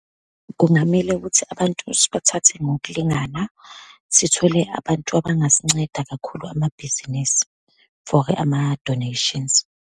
Kungamele ukuthi abantu sibathathe ngokulingana, sithole abantu abangasinceda, kakhulu amabhizinisi, for ama-donations.